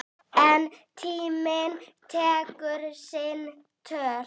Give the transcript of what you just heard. En tíminn tekur sinn toll.